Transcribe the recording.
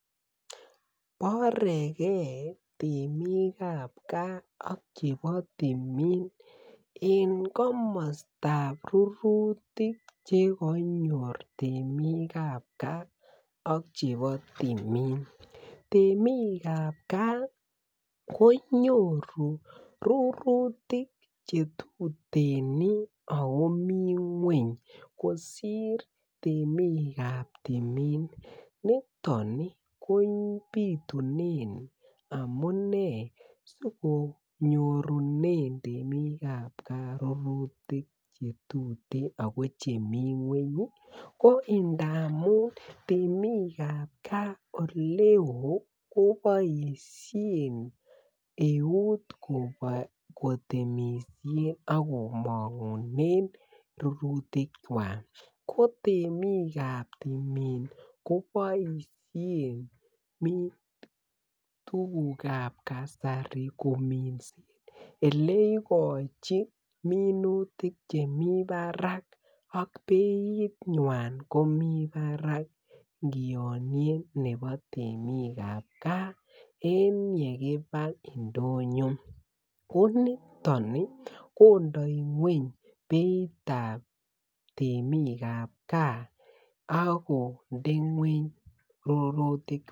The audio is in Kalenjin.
Borege temik ab gaa ak chebo timin en komostab rurutik Che konyor temik ab gaa ak chebo timin temik ab gaa ko nyoru rurutik Che tuten ako mi ngwony kosir temik ab timin niton ko bitunen amune si konyorunen temik ab gaa rurutik Che tuten ako chemi ngwony ko ndamun temik ab gaa oleo koboisien eut kotemisien ak komongunen rurutikwak ko temik ab timin koboisien tuguk ab kasari kominsen Ole igochin minutik Che mi barak ak beinywan komi barak ingianyen nebo temik ab gaa en yekiba ndonyo ko niton kondoi ngwony beit ab temik ab gaa ak konde ngwony rurutik